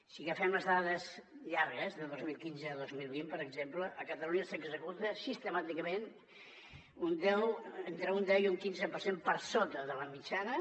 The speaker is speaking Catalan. si agafem les dades llargues de dos mil quinze a dos mil vint per exemple a catalunya s’executa sistemàticament entre un deu i un quinze per cent per sota de la mitjana